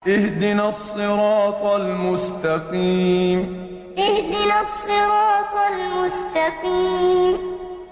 اهْدِنَا الصِّرَاطَ الْمُسْتَقِيمَ اهْدِنَا الصِّرَاطَ الْمُسْتَقِيمَ